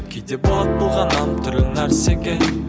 кейде болады әртүрлі нәрсеге